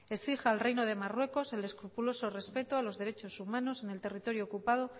exige al reino de marruecos el escrupuloso respeto a los derechos humanos en el territorio ocupado